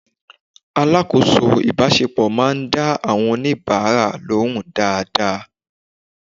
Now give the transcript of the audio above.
Alákòóso ìbáṣepọ̀ máa ń dá àwọn oníbàárà lóhùn dáadáa.